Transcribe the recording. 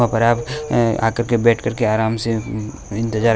और आप अह आकर के बैठ करके आराम से इंतजार--